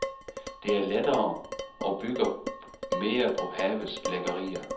Den er lettere og bygger mere på havets lækkerier.